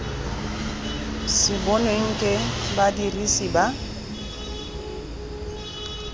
sa bonweng ke badirisi ba